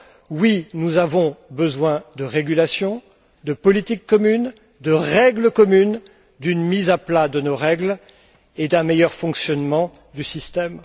Oui, nous avons besoin de régulation, de politique commune, de règles communes, d'une mise à plat de nos règles et d'un meilleur fonctionnement du système.